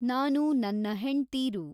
ನಾನು ನನ್ನ ಹೆಂಡ್ತೀರು